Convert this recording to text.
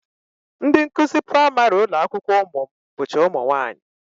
Ndị nkụzi praịmarị ụlọakwụkwọ ụmụ m bụcha ụmụnwaanyị